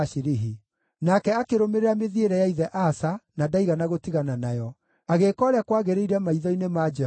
Nake akĩrũmĩrĩra mĩthiĩre ya ithe Asa na ndaigana gũtigana nayo; agĩĩka ũrĩa kwagĩrĩire maitho-inĩ ma Jehova.